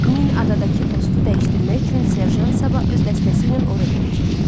Min adadakı postu dəyişdirmək üçün serjant sabah öz dəstəsi ilə ora gedəcək.